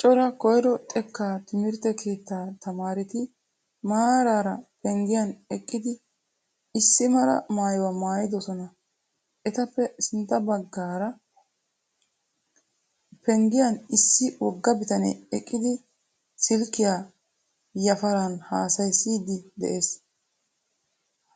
Cora koyro xeekka timirtte keettaa tamaaretti maararaa penggiyan eqqidi issi mala maayuwaa maayidosona. Etappe sintta baggaara penggiyan issi wogga bitane eqqidi silkiya yafaran haasayidi de'ees.